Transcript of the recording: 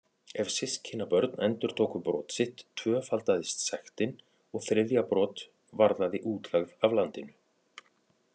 Ef systkinabörn endurtóku brot sitt tvöfaldaðist sektin og þriðja brot varðaði útlegð af landinu.